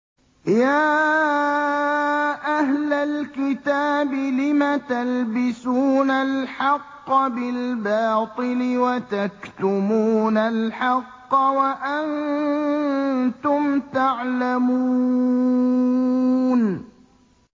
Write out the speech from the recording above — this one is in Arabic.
يَا أَهْلَ الْكِتَابِ لِمَ تَلْبِسُونَ الْحَقَّ بِالْبَاطِلِ وَتَكْتُمُونَ الْحَقَّ وَأَنتُمْ تَعْلَمُونَ